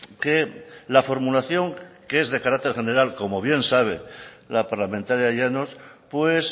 que la formulación que es de carácter general como bien sabe la parlamentaria llanos pues